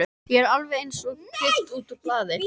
Ég er alveg einsog klippt útúr blaði.